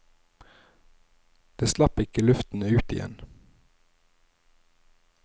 Det slapp ikke luften ut igjen.